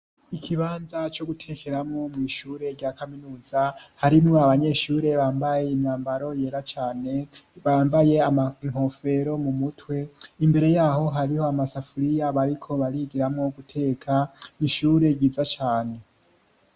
Ikibanza co gutekeramo mw'ishure rya kaminuza harimo abanyeshure bambaye inambaro yera cane bambaye amankofero mu mutwe imbere yaho hariho amasafuriya bariko barigiramwo guteka m'ishure ryiza cane.